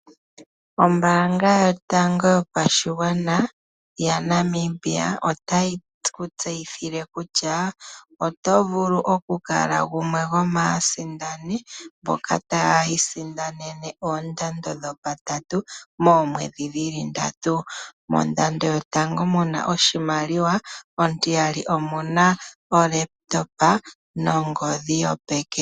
Ombaanga yotango yopashigwana ya Namibia otayi ku tseyithile kutya oto vulu okukala gumwe gwomaasindani mboka taya isindanene oondando dhopatatu moomwedhi dhili ndatu. Mondando yotango muna oshimaliwa, ontiyali omuna olaptopa nongodhi yopeke.